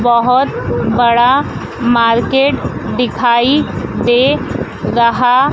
बहोत बड़ा मार्केट दिखाई दे रहा--